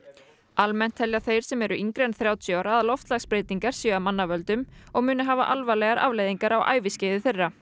almennt telja þeir sem eru yngri en þrjátíu ára að loftslagsbreytingar séu af mannavöldum og muni hafa alvarlegar afleiðingar á æviskeiði þeirra